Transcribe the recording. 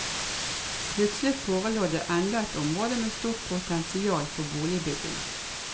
Plutselig forelå det enda et område med stort potensial for boligbygging.